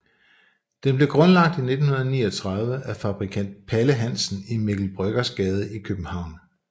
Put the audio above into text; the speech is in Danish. Den blev grundlagt i 1939 af fabrikant Palle Hansen i Mikkel Bryggers Gade i København